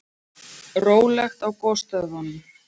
Rólegt á gosstöðvunum